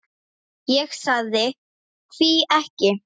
Ég sagði: Hví ekki?